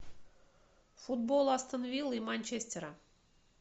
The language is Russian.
футбол астон вилла и манчестера